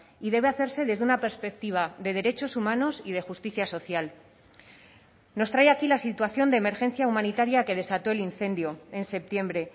y debe hacerse desde una perspectiva de derechos humanos y de justicia social nos trae aquí la situación de emergencia humanitaria que desató el incendio en septiembre